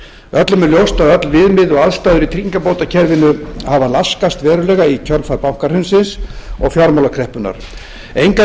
öllum er ljóst að öll viðmið og aðstaða í tryggingabótakerfinu hafa laskast verulega í kjölfar bankahrunsins og fjármálakreppunnar engu að